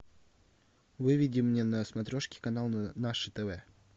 выведи мне на смотрешке канал наше тв